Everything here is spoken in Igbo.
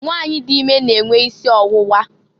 Nwanyị dị ime na enwe isi ọwụwa.